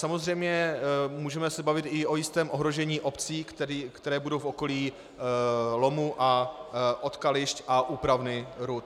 Samozřejmě můžeme se bavit i o jistém ohrožení obcí, které budou v okolí lomu a odkališť a úpravny rud.